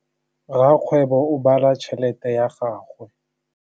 Rakgwêbô o bala tšheletê ya gagwe.